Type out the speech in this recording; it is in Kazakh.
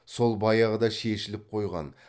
сол баяғыда шешіліп қойған